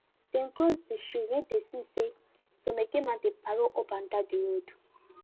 dem cross de street wen dem see say some eke men dey parol up and down de road